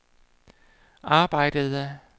arbejdede